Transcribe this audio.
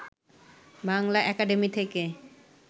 Bangla academy থেকে